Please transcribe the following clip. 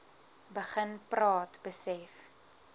begin praat besef